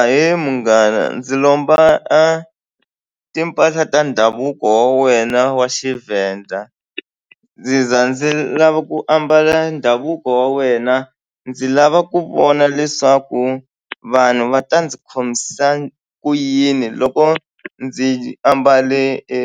Ahee munghana ndzi lomba a timpahla ta ndhavuko wa wena wa xiVenda ndzi za ndzi lava ku ambala ndhavuko wa wena ndzi lava ku vona leswaku vanhu va ta ndzi khomisa ku yini loko ndzi ambale e